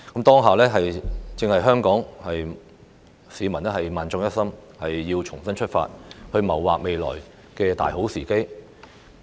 此刻正是香港市民萬眾一心，重新出發，謀劃未來的大好時機。